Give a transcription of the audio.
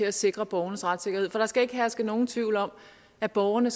at sikre borgernes retssikkerhed for der skal ikke herske nogen tvivl om at borgerne